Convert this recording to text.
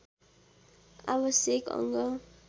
आवश्यक अङ्ग